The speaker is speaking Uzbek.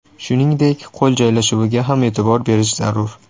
Shuningdek, qo‘l joylashuviga ham e’tibor berish zarur.